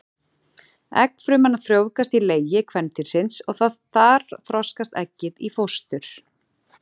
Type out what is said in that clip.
Eggfruman frjóvgast í legi kvendýrsins og þar þroskast eggið í fóstur.